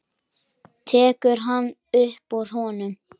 Tekur eina upp úr honum.